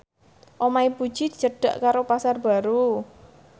omahe Puji cedhak karo Pasar Baru